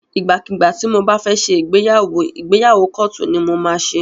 Ìgbà kígbà tí mo bá fẹ́ ṣe ìgbéyàwó, ìgbéyàwó kóòtù ni mo máa ṣe.